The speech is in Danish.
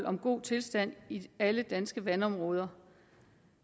om god tilstand i alle danske vandområder